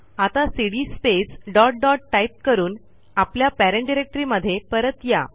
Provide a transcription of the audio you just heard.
आता cd space dot dot type करून आपल्या पेरेंट डिरेक्टरीमध्ये परत या